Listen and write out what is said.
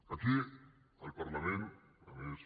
aquí al parlament a més